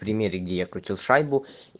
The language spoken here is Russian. примеры где я крутил шайбу